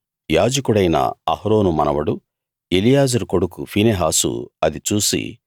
యాజకుడైన అహరోను మనవడు ఎలియాజరు కొడుకు ఫీనెహాసు అది చూసి